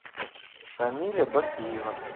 шамиля бакиева